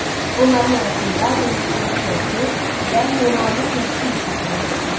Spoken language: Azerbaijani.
Onların arasında duluzçuluq sənəti və memarlıq yaxşı inkişaf eləmişdi.